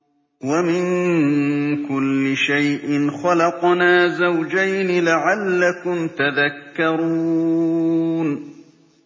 وَمِن كُلِّ شَيْءٍ خَلَقْنَا زَوْجَيْنِ لَعَلَّكُمْ تَذَكَّرُونَ